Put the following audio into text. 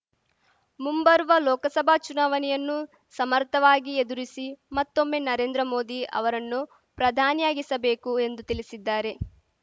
ಮುಂಬರುವ ಲೋಕಸಭಾ ಚುನಾವಣೆಯನ್ನು ಸಮರ್ಥವಾಗಿ ಎದುರಿಸಿ ಮತ್ತೊಮ್ಮೆ ನರೇಂದ್ರ ಮೋದಿ ಅವರನ್ನು ಪ್ರಧಾನಿಯಾಗಿಸಬೇಕು ಎಂದು ತಿಳಿಸಿದ್ದಾರೆ